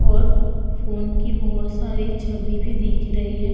और फ़ोन की बोहोत सारी छवि भी दिख रही हैं।